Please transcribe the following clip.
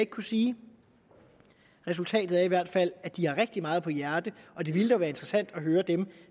kunne sige resultatet er i hvert fald at de har rigtig meget på hjerte det ville dog være interessant at høre dem